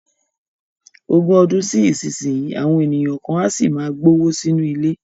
Ogún ọdún sí ìsinyìí, àwọn ènìyàn kan á sì máa gbówó sínú ilé